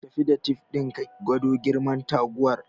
Tafi da tif din ka gwado girman taguwar